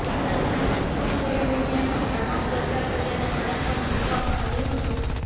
વિઘ્ન સંતોષી લોકોએ મીડિયામાં ભ્રામક પ્રચાર કર્યાનો આરોપ પણ મૂકવામાં આવ્યો હતો